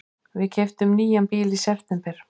Við keyptum nýjan bíl í september.